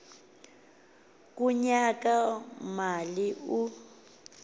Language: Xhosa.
kunyaka mali u